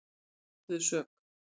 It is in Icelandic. Þeir játuðu sök